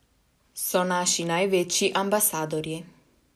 So naši največji ambasadorji.